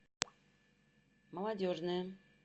молодежная